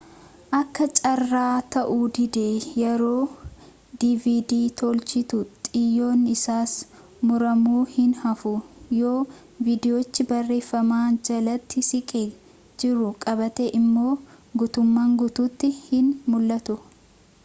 akka carraa ta'uu didee yeroo dvd toolchitu xiyyoon isaas muramuu hin haafu yoo vidiyochi barreeffama jalatti siqee jiru qabaate immoo gutummaan guutuutti hin mul'atu